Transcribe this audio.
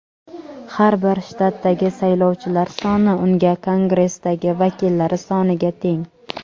Har bir shtatdagi saylovchilar soni uning Kongressdagi vakillari soniga teng.